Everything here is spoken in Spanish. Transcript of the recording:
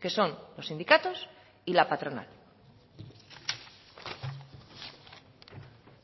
que son los sindicatos y la patronal